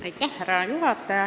Härra juhataja!